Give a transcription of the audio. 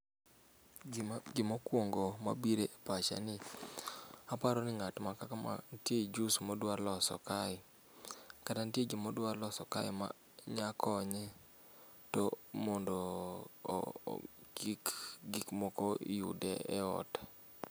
Gima gimokuongo mabire epacha ni aparoni ng'ato ma kaka ma nitie juice modwa loso kae kata nitie gima odwa loso kae ma nyakonye to mondo oo kik gik moko yude eot.